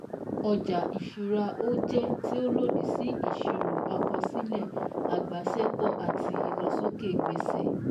Ọjà ìṣúra ó jẹ́ tí ó lòdì sí ìsirò àkọsílẹ̀ agbasẹ́pọ̀ àti ìlósókè gbèsè